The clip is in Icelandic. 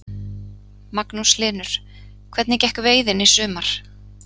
Magnús Hlynur: Hvernig gekk veiðin í sumar?